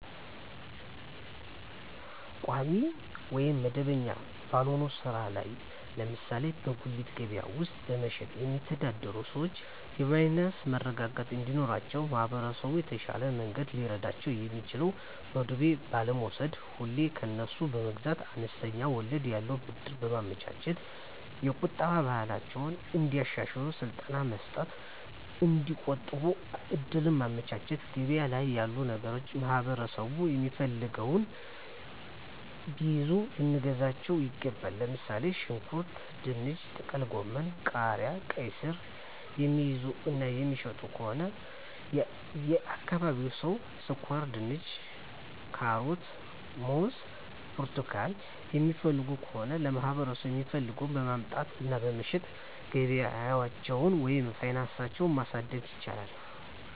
ቋሚ ወይም መደበኛ ባልሆነ ሥራ ላይ (ለምሳሌ በጉሊት ገበያ ውስጥ በመሸጥ)የሚተዳደሩ ሰዎች የፋይናንስ መረጋጋት እንዲኖራቸው ማህበረሰቡ በተሻለ መንገድ ሊረዳቸው የሚችለው በዱቤ ባለመውስድ፤ ሁሌ ከነሱ መግዛት፤ አነስተኛ ወለድ ያለው ብድር በማመቻቸት፤ የቁጠባ ባህላቸውን እንዲያሻሽሉ ስልጠና መስጠት እና እዲቆጥቡ እድሉን ማመቻቸት፤ ገበያ ላይ ያሉ ነገሮችን ማህበረሠቡ የሚፈልገውን ቢይዙ ልናግዛቸው ይገባል። ለምሣሌ፦ ሽንኩርት፤ ድንች፤ ጥቅልጎመን፤ ቃሪያ፤ ቃይስር፤ የሚይዙ እና የሚሸጡ ከሆነ የአካባቢው ሠው ስኳርድንች፤ ካሮት፤ ሙዝ እና ብርቱካን የሚፈልግ ከሆነ ለማህበረሰቡ የሚፈልገውን በማምጣት እና በመሸጥ ገቢያቸውን ወይም ፋናሳቸው ማሣደግ ይችላሉ።